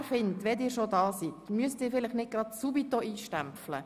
Er findet, wenn Sie schon anwesend sind, müssten Sie nicht sofort stempeln.